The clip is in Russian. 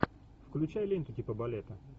включай ленту типа балета